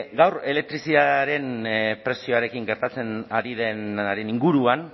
gaur elektrizitatearen prezioarekin gertatzen ari denaren inguruan